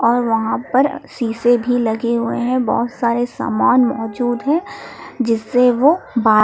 और वहां पर शीशे भी लगे हुएं हैं बहुत सारे सामान मौजूद हैं जिससे वो बा--